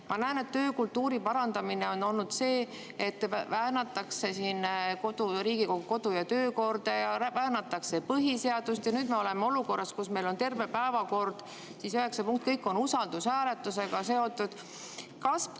" Ma näen, et töökultuuri parandamine on olnud see, et väänatakse Riigikogu kodu‑ ja töökorda, väänatakse põhiseadust, ja nüüd me oleme olukorras, kus meil on terve päevakord, kõik üheksa punkti usaldushääletusega seotud.